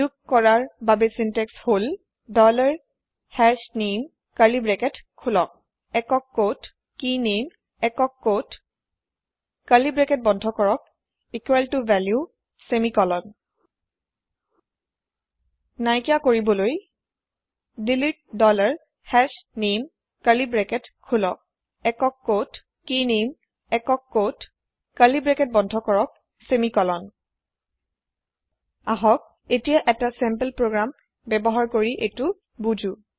যোগ কৰাৰ চিন্ত্যেক্স হহল ডলাৰ হাশনামে কাৰ্লি ব্ৰেকেট খোলক single quote key name single quote curly bracket বন্ধ কৰক ইকোৱেল ত ভেলিউ ছেমিকলন নাইকিয়া কৰিবলৈ delete dollar hash name curly bracket খোলক single quote key name single quote curly bracket বন্ধ কৰক ছেমিকলন আহক এতিয়া এতা চেম্পল প্ৰগ্ৰেম এটা বুজো